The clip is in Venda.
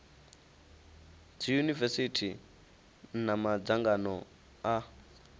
dzi yunivesithi na madzangano a